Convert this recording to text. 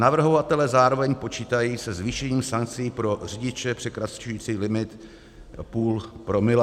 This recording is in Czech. Navrhovatelé zároveň počítají se zvýšením sankcí pro řidiče překračující limit půl promile.